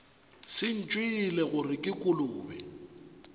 se ntšwele gore ke kolobe